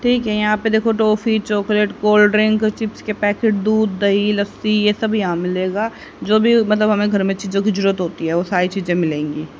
ठीक है यहां पे देखो toffee chocolate cold drink chips के पैकेट दूध दही लस्सी यह सब यहां मिलेगा जो भी मतलब हमें घर में चीजों की जरूरत होती है वो सारी चीजें मिलेंगी।